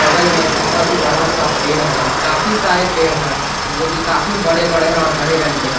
बगल में एक बहुत बड़ा सा पेड़ है और काफी सारे पेड़ है जोकि काफी बड़े बड़े है और हरे रंग के है।